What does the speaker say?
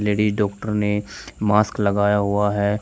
Ladies doctor ने mask लगाया हुआ है।